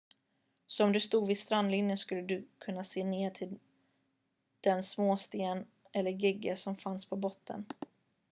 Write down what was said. så om du stod vid strandlinjen skulle du kunna se ner till den småsten eller gegga som fanns på botten